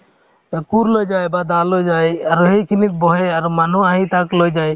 অ, কোৰ লৈ যায় বা দা লৈ যায় আৰু সেইখিনিত বহে আৰু মানুহ আহি তাক লৈ যায়